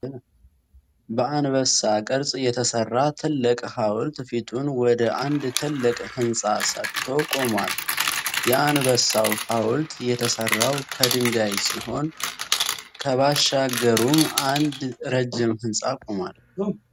በአንበሳ ቅርጽ የተሰራ ትልቅ ሃዉልት ፊቱን ወደ አንድ ትልቅ ህንጻ ሰጥቶ ቆሟል። የአንበሳው ሃውልት የተሰራው ከድንጋይ ሲሆን ከባሻገሩም አንድ ረጅም ህንጻ ቆሟል።